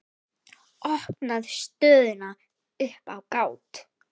Opnar stöðuna upp á gátt.